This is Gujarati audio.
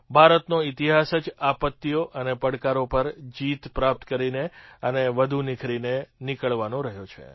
ભારતનો ઇતિહાસ જ આપત્તિઓ અને પડકારો પર જીત પ્રાપ્ત કરીને અને વધુ નિખરીને નીકળવાનો રહ્યો છે